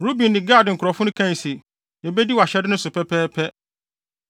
Ruben ne Gad nkurɔfo no kae se, “Yebedi wʼahyɛde no so pɛpɛɛpɛ.